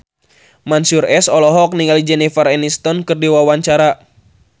Mansyur S olohok ningali Jennifer Aniston keur diwawancara